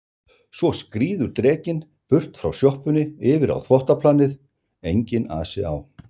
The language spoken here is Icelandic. Svo skríður drekinn burt frá sjoppunni yfir á þvottaplanið, enginn asi á